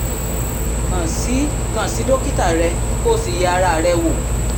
kàn sí kàn sí dókítà rẹ kó o sì yẹ ara rẹ wò